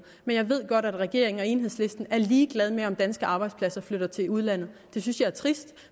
men jeg ved godt at regeringen og enhedslisten er ligeglad med om danske arbejdspladser flytter til udlandet det synes jeg er trist